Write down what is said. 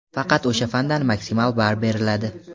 faqat o‘sha fandan maksimal ball beriladi.